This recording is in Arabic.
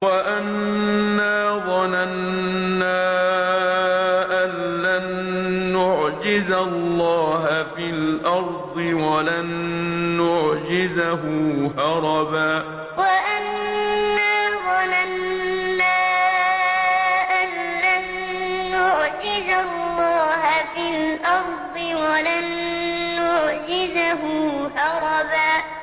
وَأَنَّا ظَنَنَّا أَن لَّن نُّعْجِزَ اللَّهَ فِي الْأَرْضِ وَلَن نُّعْجِزَهُ هَرَبًا وَأَنَّا ظَنَنَّا أَن لَّن نُّعْجِزَ اللَّهَ فِي الْأَرْضِ وَلَن نُّعْجِزَهُ هَرَبًا